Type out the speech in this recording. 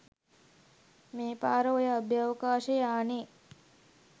මේ පාර ඔය අභ්‍යවකාශ යානෙ